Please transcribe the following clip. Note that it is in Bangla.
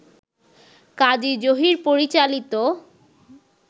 কাজী জহির পরিচালিত